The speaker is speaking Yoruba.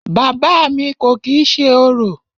Bàbá à mi kò kìí ṣe orò.